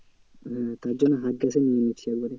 হ্যাঁ তার জন্য হাত case এ নিয়ে নিচ্ছি একবারে।